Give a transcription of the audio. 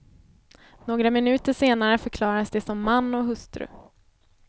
Några minuter senare förklarades de som man och hustru.